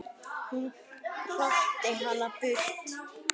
Hún hrakti hana burt.